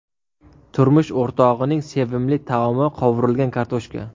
Turmush o‘rtog‘ining sevimli taomi qovurilgan kartoshka.